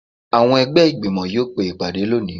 Awọn ẹgbẹ igbimọ yóò pe ìpadé loní